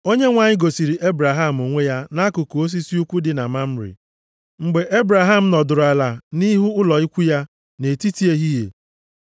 Onyenwe anyị gosiri Ebraham onwe ya nʼakụkụ osisi ukwu dị na Mamre, mgbe Ebraham nọdụrụ ala nʼihu ụlọ ikwu ya, nʼetiti ehihie.